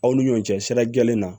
Aw ni ɲɔgɔn cɛ sira jɛlen na